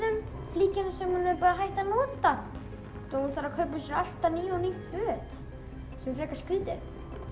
flíkina sem hún var hætt að nota svo hún þarf að kaupa alltaf ný og ný föt sem er frekar skrítið